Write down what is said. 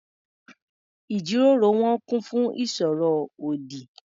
Ìjíròrò wọn kún fún ìsọ̀rọ̀ ọ̀dì.